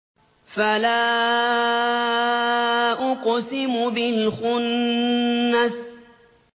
فَلَا أُقْسِمُ بِالْخُنَّسِ